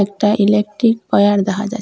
একটা electric wire দেখা যায়।